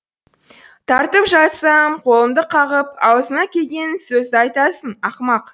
тартып жатсам қолымды қағып аузыңа келген сөзді айтасың ақымақ